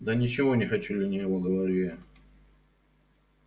да ничего не хочу лениво говорю я